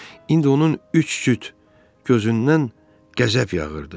İndi onun üç cüt gözündən qəzəb yağırdı.